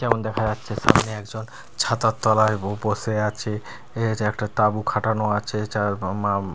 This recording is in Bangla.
যেমন দেখা যাচ্ছে সামনে একজন ছাতার তলায় বো বসে আছে এ যে একটা তাঁবু খাটানো আচে চার উ মাম--